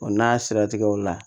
O n'a siratigɛw la